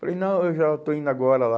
Falei, não, eu já estou indo agora lá.